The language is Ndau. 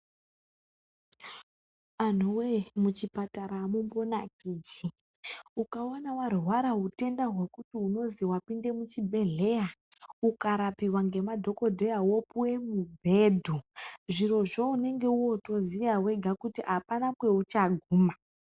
Anhuwe mu chipatara amumbo nakidzi ukaona warwara hutenda hwekuti unozi wapinde mu chibhedhleya uka rapiwa nge madhokodheya wopuwe mu bhedho zvirozvo unenge woto ziya wega kuti apana kwaucha guma.